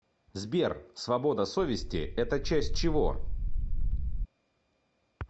сбер свобода совести это часть чего